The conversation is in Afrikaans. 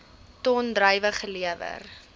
ton druiwe gelewer